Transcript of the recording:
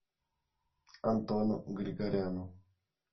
антону григоряну